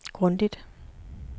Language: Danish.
grundigt